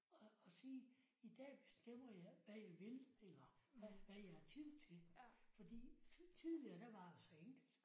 Og og sige i dag bestemmer jeg hvad jeg vil eller hvad jeg har tid til fordi tidligere der var det så enkelt